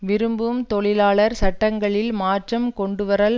விரும்பும் தொழிலாளர் சட்டங்களில் மாற்றம் கொண்டுவரல்